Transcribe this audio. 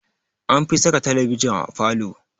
Anfi saka talabijin a falo.